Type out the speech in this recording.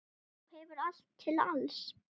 Þú hefur allt til alls.